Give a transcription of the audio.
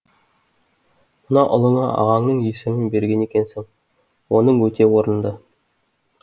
мына ұлыңа ағаңның есімін берген екенсің оның өте орынды